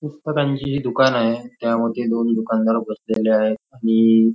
पुस्तकांचे हि दुकान आहे त्यामध्ये दोन दुकानदार उपलब्द झाले आहे आणि--